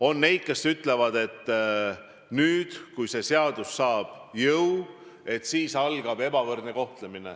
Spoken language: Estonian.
On neid, kes ütlevad, et kui see seadus saab jõu, siis algab ebavõrdne kohtlemine.